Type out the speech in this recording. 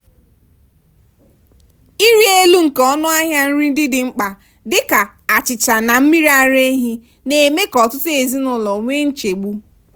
ịrị elu nke ọnụahịa nri ndị dị mkpa dị ka achịcha na mmiri ara ehi na-eme ka ọtụtụ ezinụlọ nwee nchegbu